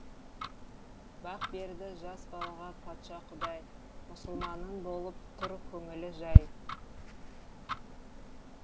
бақ берді жас балаға патша құдай мұсылманның болып тұр көңілі жай